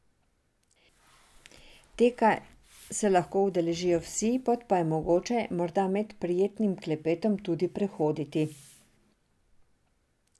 Teka se lahko udeležijo vsi, pot pa je mogoče, morda med prijetnim klepetom, tudi prehoditi.